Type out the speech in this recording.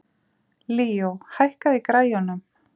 Líó, hækkaðu í græjunum.